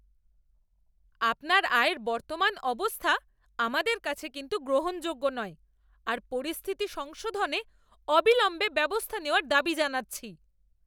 আপনার আয়ের বর্তমান অবস্থা আমাদের কাছে কিন্তু গ্রহণযোগ্য নয় আর পরিস্থিতি সংশোধনে অবিলম্বে ব্যবস্থা নেওয়ার দাবি জানাচ্ছি।